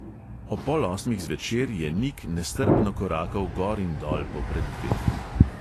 Ob pol osmih zvečer je nik nestrpno korakal gor in dol po preddverju.